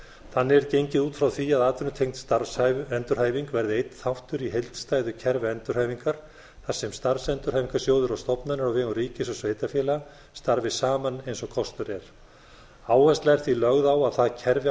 þannig er gengið út frá því að atvinnutengd starfsendurhæfing verði einn þáttur í heildstæðu kerfi endurhæfingar þar sem starfsendurhæfingarsjóður og stofnanir á vegum ríkis og sveitarfélaga starfi saman eins og kostur er áhersla er því lögð á að það kerfi